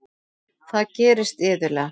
Það gerist iðulega.